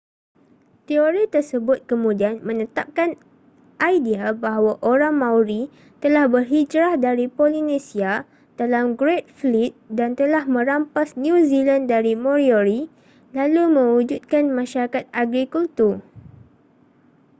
teori tersebut kemudian menetapkan idea bahawa orang maori telah berhijrah dari polinesia dalam great fleet dan telah merampas new zealand dari moriori lalu mewujudkan masyarakat agrikultur